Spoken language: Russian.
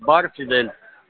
бар фидель